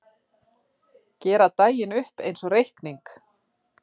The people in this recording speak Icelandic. Gera daginn upp einsog reikning.